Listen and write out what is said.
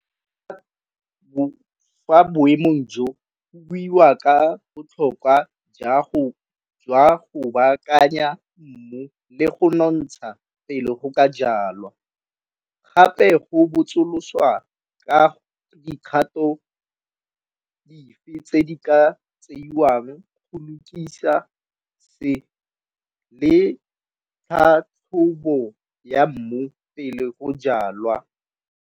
Fa boemo jo go buiwa ka botlhokwa jwa go baakanya mmu le go nonotsha pele go ka jalwa. Gape go botsoloswa ka dikgato dife tse di ka tseiwang go lokisa se le tlhatlhobo ya mmu pele ko jalwa.